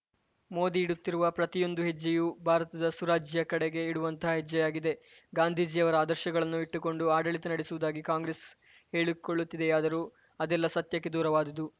ಮೋದಿ ಇಡುತ್ತಿರುವ ಪ್ರತಿಯೊಂದು ಹೆಜ್ಜೆಯು ಭಾರತದ ಸುರಾಜ್ಯ ಕಡೆ ಇಡುವಂತಹ ಹೆಜ್ಜೆಯಾಗಿದೆ ಗಾಂಧೀಜಿಯವರ ಆದರ್ಶಗಳನ್ನು ಇಟ್ಟುಕೊಂಡು ಆಡಳಿತ ನಡೆಸುವುದಾಗಿ ಕಾಂಗ್ರೆಸ್‌ ಹೇಳಿಕೊಳ್ಳುತ್ತಿದೆಯಾದರೂ ಅದೆಲ್ಲಾ ಸತ್ಯಕ್ಕೆ ದೂರವಾದುದು